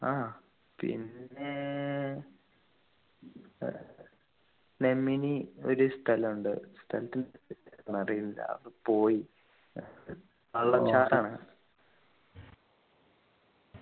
ആഹ് പിന്നെ ഏർ നെമ്മിനീ ഒരു സ്ഥലമുണ്ട് സ്ഥലത്തിൻ്റെ അറിയില്ല അത് പോയി ആഹ്